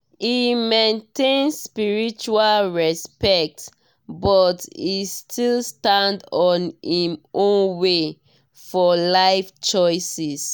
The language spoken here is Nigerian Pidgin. e maintain spiritual respect but e still stand on im **own way** for life choices.